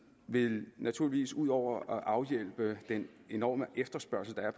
vil naturligvis ud over at afhjælpe den enorme efterspørgsel der er